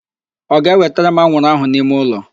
Ọ ga-ewetere m anwụrụ ahụ n'ime ụlọ?